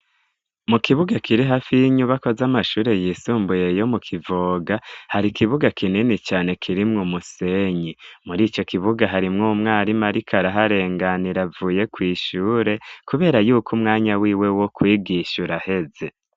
Mu kibuga kiri hafi y'inyubako z'amashure yisumbuye yo mu kivoga hari ikibuga kinini cane kirimwo umusenyi muri ico kibuga harimwo umwarimu ari ko araharenganira avuye kw'ishure, kubera yuko umwanya wiwe wo kwigisha ura aheze.